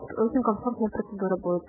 что